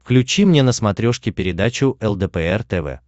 включи мне на смотрешке передачу лдпр тв